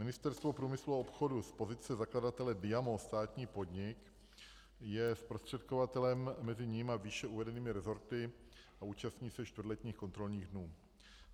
Ministerstvo průmyslu a obchodu z pozice zakladatele Diamo, státní podnik, je zprostředkovatelem mezi ním a výše uvedenými resorty a účastní se čtvrtletních kontrolních dnů.